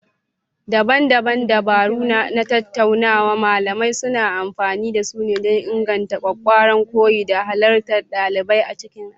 Daban-daban dabaru na tattaunawa malamai suna amfani da su don inganta ƙwaƙƙwaran koyo da halartar ɗalibai a cikin aji.